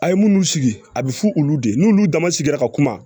A' ye munnu sigi a bɛ fɔ olu de ye n'olu damasigira ka kuma